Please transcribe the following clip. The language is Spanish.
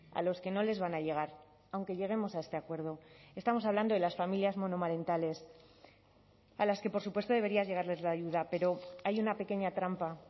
a los que no les van a llegar aunque lleguemos a este acuerdo estamos hablando de las familias monomarentales a las que por supuesto debería llegarles la ayuda pero hay una pequeña trampa